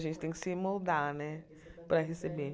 A gente tem que se moldar, né, para receber.